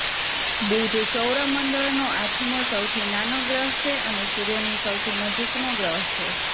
બુધ સૌરમંડળનો આઠમો સૌથી નાનો ગ્રહ છે અને સૂર્યની સૌથી નજીકનો ગ્રહ છે